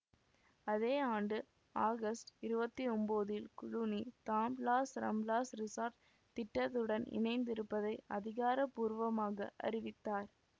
அதே ஆண்டு ஆகஸ்ட் இருவத்தி ஒம்போதில் குளூனி தான் லாஸ் ரம்ப்லாஸ் ரிஸார்ட் திட்டத்துடன் இணைந்திருப்பதை அதிகார பூர்வமாக அறிவித்தார்